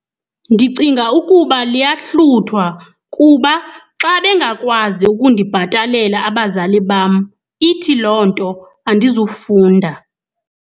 Ndicinga ukuba liyahluthwa kuba xa bengakwazi ukundibhatalela abazali bam, ithi loo nto andizufunda.